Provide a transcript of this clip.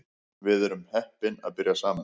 Við vorum heppin að byrja saman